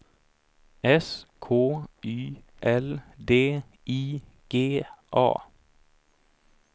S K Y L D I G A